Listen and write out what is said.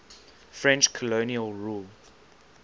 french colonial rule